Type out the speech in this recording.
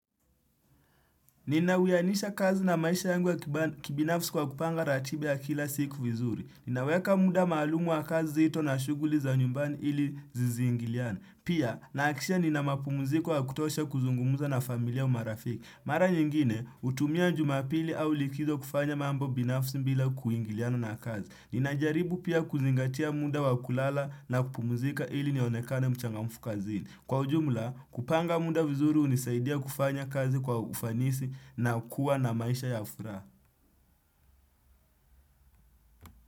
Nina uyanisha kazi na maisha yangu ya kibinafsi kwa kupanga ratiba ya kila siku vizuri. Ninaweka muda maalumu wa kazi zito na shuguli za nyumbani ili zisingiliane. Pia, nahakisha nina mapumuziko ya kutosha kuzungumuza na familia umarafiki. Mara nyingine, utumia njumapili au likizo kufanya mambo binafsi mbila kuingiliana na kazi. Ninajaribu pia kuzingatia muda wa kulala na kupumuzika ili nionekane mchangamfu kazi. Kwa ujumula, kupanga munda vizuri unisaidia kufanya kazi kwa ufanisi na kuwa na maisha ya furaha.